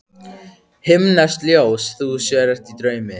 Himneskt ljós þú sér í draumi.